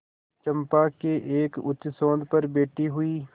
चंपा के एक उच्चसौध पर बैठी हुई